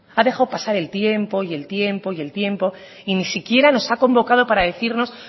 ha dejado pasar el tiempo y el tiempo y el tiempo y ni siquiera nos han convocado para decirnos